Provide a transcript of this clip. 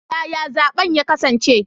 Yaya zaben ya kasance?